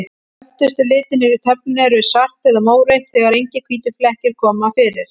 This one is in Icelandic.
Öftustu litirnir í töflunni eru svart eða mórautt, þegar engir hvítir flekkir koma fyrir.